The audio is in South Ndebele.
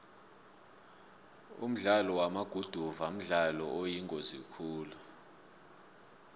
umdlalo wamaguduva mdlalo oyingozi khulu